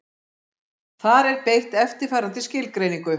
Þar er beitt eftirfarandi skilgreiningu: